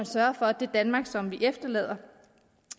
sørget for at det danmark som vi efterlader